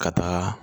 Ka taaga